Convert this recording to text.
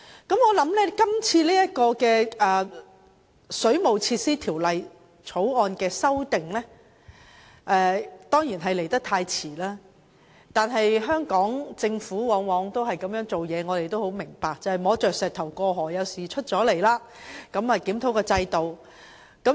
我相信今次就《水務設施條例》作出的修訂，顯然是來得太遲，但香港政府往往是如此行事，我們也明白當局要摸着石頭過河，當有事情發生時才檢討制度。